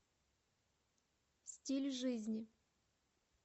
стиль жизни